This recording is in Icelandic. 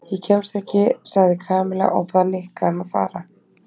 Ég kemst ekki sagði Kamilla og bað Nikka um að fara.